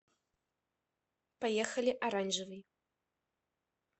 поехали оранжевый